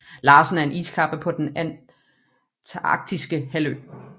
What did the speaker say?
Larsen er en iskappe på den Antarktiske Halvø